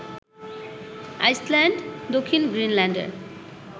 Iceland, দক্ষিণ গ্রিনল্যান্ডের